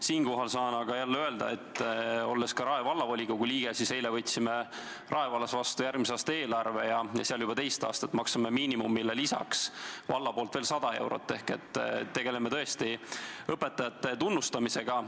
Siinkohal saan aga jälle öelda, olles ka Rae Vallavolikogu liige, et eile me võtsime Rae vallas vastu järgmise aasta eelarve ja me juba teist aastat maksame miinimumile lisaks valla poolt veel 100 eurot ehk tegeleme tõesti õpetajate tunnustamisega.